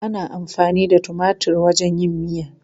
Ana amfani da tumatir wajen yin miya.